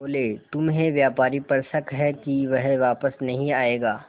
बोले तुम्हें व्यापारी पर शक है कि वह वापस नहीं आएगा